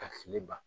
Ka fili ban